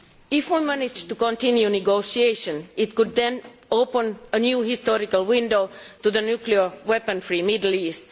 If we manage to continue negotiations, this could then open a new historical window to the nuclear weapon free Middle East.